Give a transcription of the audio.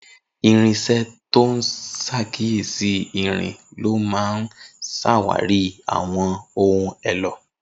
Irinṣẹ́ tó ń ṣàkíyèsí irin ló máa ń ṣàwárí àwọn ohun èlò